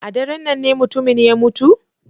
A daren nan ne mutumin ya mutu?